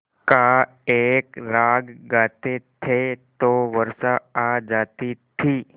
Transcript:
का एक राग गाते थे तो वर्षा आ जाती थी